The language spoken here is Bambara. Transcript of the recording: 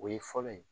O ye fɔlɔ ye